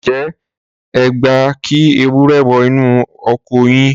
ǹjẹ́ ẹ gbà kí ewúrẹ́ wọ inú oko yín?